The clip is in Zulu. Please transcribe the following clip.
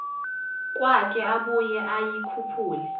kwakhe abuye ayikhuphule